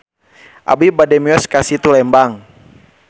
Abi bade mios ka Situ Lembang